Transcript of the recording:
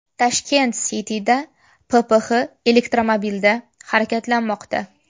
Tashkent City’da PPX elektromobilda harakatlanmoqda .